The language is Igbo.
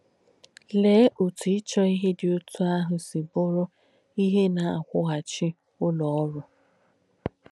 Leé òtù ìchọ̀ íhe dí ótù àhù sì bùrù íhe nà-àkwụ́gháchì ùlọ̣ òrū!